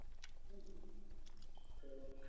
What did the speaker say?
হম তো